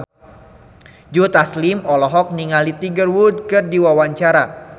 Joe Taslim olohok ningali Tiger Wood keur diwawancara